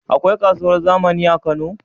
Akwai kasuwar zamani a kano?